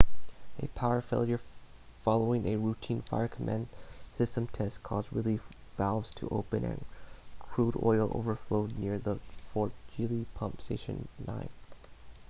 a power failure following a routine fire-command system test caused relief valves to open and crude oil overflowed near the fort greely pump station 9